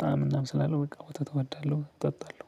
ጣዕም እናም ስላለው በቃ ወተት እወዳለሁ እጠጣለሁ።